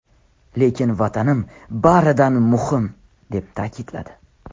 Lekin Vatanim baridan muhim!” deb ta’kidladi.